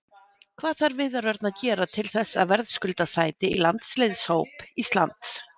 Hvað þarf Viðar Örn að gera til þess að verðskulda sæti í landsliðshóp Íslands?